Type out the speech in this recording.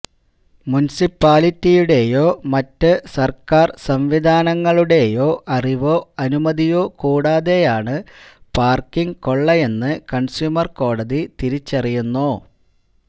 മുൻസിപ്പാലിറ്റിയുടേയോ മറ്റ് സർക്കാർ സംവിധാനങ്ങളുടേയോ അറിവോ അനുമതിയോ കൂടാതെയാണ് പാർക്കിങ് കൊള്ളയെന്ന് കൺസ്യൂമർ കോടതി തിരിച്ചറിയുന്നു